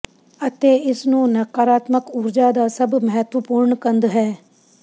ਅਤੇ ਇਸ ਨੂੰ ਨਕਾਰਾਤਮਕ ਊਰਜਾ ਦਾ ਸਭ ਮਹੱਤਵਪੂਰਨ ਕੰਧ ਹੈ